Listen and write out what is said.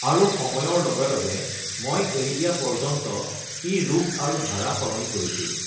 আৰু সময়ৰ লগে লগে মই এৰি দিয়া পৰ্য্যন্ত ই ৰূপ আৰু ধাৰা সলনি কৰিছিল।